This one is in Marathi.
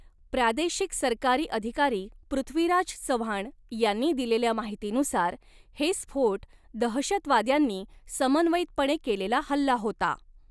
प्रादेशिक सरकारी अधिकारी पृथ्वीराज चव्हाण यांनी दिलेल्या माहितीनुसार, हे स्फोट दहशतवाद्यांनी समन्वयितपणे केलेला हल्ला होता.